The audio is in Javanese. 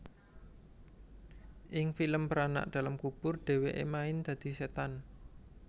Ing film Beranak dalam Kubur dheweke main dadi setan